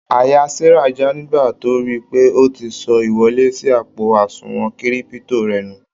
Àyà Sara já nígbà tó ríi pé o ti sọ ìwọlé sí àpo àsùnwòn Kírípútò rẹ nù.